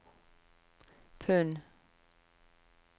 pund